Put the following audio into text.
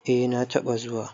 eh na taba zuwa